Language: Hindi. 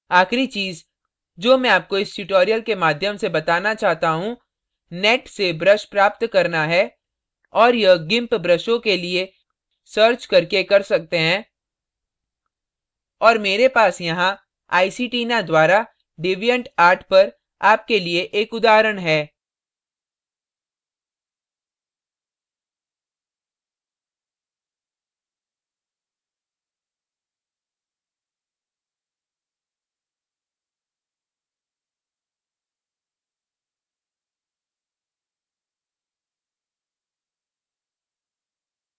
आखिरी चीज़ जो मैं आपको इस tutorial के माध्यम से बताना चाहता हूँ net से ब्रश प्राप्त करना है और यह gimp ब्रशों के लिए सर्च करके कर सकते हैं और मेरे पास यहाँ iceytina द्वारा deviantart पर आपके लिए एक उदाहरण है